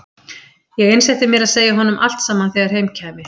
Ég einsetti mér að segja honum allt saman þegar heim kæmi.